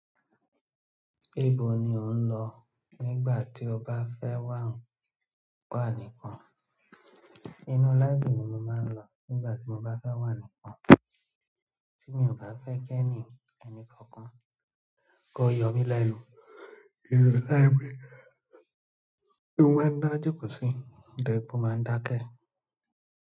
Níbo ni ò ń lọ nígbà tí o bá fẹ́ wà nìkan? Inú Libra ni mo máa ń lọ nígbà tí mo bá fẹ́ wà nìkan, tí mi ò bá fẹ́ kí ẹnìkànkan kó yo mí lẹ́nu. Library ni mo. Máa ń dá jòkósí, nítorí wípé o máa ń dákẹ́.